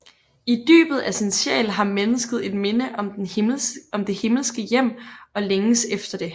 I dybet af sin sjæl har mennesket et minde om det himmelske hjem og længes efter det